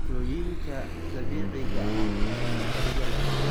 Cuntooyinka dabiiciga ah ayaa faa'iido leh.